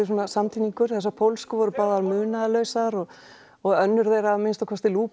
svona samtíningur þessar pólsku voru munaðarlausar og og önnur þeirra að minnsta kosti